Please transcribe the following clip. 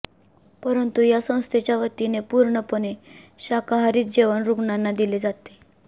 परंतु या संस्थेच्यावतीने पूर्णपणे शाकाहारीच जेवण रुग्णांना दिले जाते